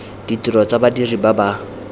ditiro tsa badiri ba ba